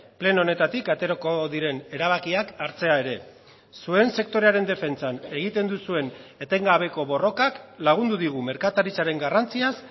pleno honetatik aterako diren erabakiak hartzea ere zuen sektorearen defentsan egiten duzuen etengabeko borrokak lagundu digu merkataritzaren garrantziaz